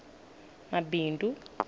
mabindu